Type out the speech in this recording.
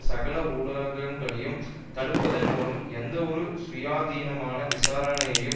சகல ஊடகங்களையும் தடுப்பதன் மூலமும் எந்தவொரு சுயாதீனாமன விசாரணையையும்